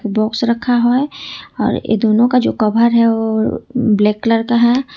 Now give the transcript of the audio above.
Box रखा है और ये दोनों का जो कवर है ओ ब्लैक कलर का है।